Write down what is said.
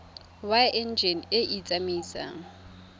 wa enjine e e tsamaisang